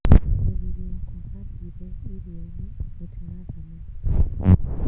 Mũthuri wakwa athire iria-inĩ gũtega thamaki